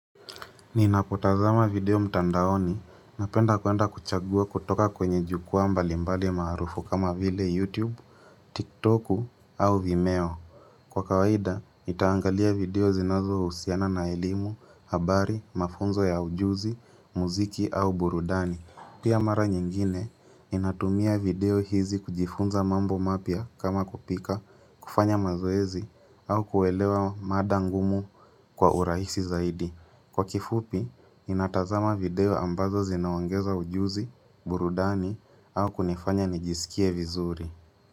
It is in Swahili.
Ninapotazama video mtandaoni, napenda kuenda kuchagua kutoka kwenye jukuwa mbali mbali maarufu kama vile YouTube, TikToku au Vimeo. Kwa kawaida, nitaangalia video zinazo husiana na elimu, habari, mafunzo ya ujuzi, muziki au burudani. Pia mara nyingine, ninatumia video hizi kujifunza mambo mapya kama kupika, kufanya mazoezi, au kuelewa mada ngumu kwa urahisi zaidi. Kwa kifupi, ninatazama video ambazo zinaongeza ujuzi, burudani au kunifanya nijisikie vizuri.